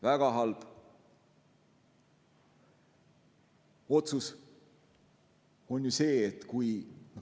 Väga halb otsus on see, kui ...